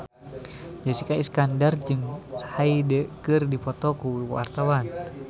Jessica Iskandar jeung Hyde keur dipoto ku wartawan